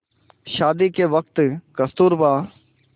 शादी के वक़्त कस्तूरबा